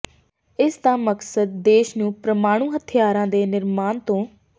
ਇਸ ਦਾ ਮਕਸਦ ਦੇਸ਼ ਨੂੰ ਪ੍ਰਮਾਣੂ ਹਥਿਆਰਾਂ ਦੇ ਨਿਰਮਾਣ ਤੋ